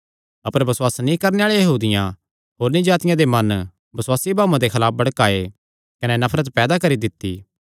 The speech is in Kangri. अपर बसुआस नीं करणे आल़े यहूदियां होरनी जातिआं दे मन बसुआसी भाऊआं दे खलाफ भड़काये कने नफरत पैदा करी दित्ती